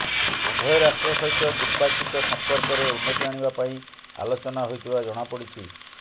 ଉଭୟ ରାଷ୍ଟ୍ର ସହିତ ଦ୍ବିପାକ୍ଷିକ ସମ୍ପର୍କରେ ଉନ୍ନତି ଆଣିବା ପାଇଁ ଆଲୋଚନା ହୋଇଥିବା ଜଣାପଡିଛି